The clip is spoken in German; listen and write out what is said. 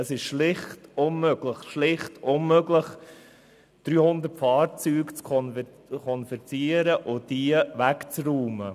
Es ist schlicht unmöglich, 300 Fahrzeuge zu konfiszieren und wegzuräumen.